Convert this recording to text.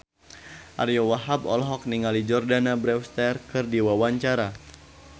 Ariyo Wahab olohok ningali Jordana Brewster keur diwawancara